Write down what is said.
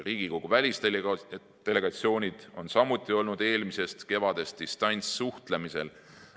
Riigikogu välisdelegatsioonid on samuti olnud eelmisest kevadest distantssuhtlemisel.